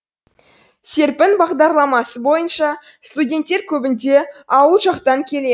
серпін бағдарламасы бойынша студенттер көбінде ауыл жақтан келеді